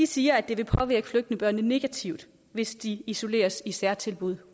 siger at det vil påvirke flygtningebørnene negativt hvis de isoleres i særtilbud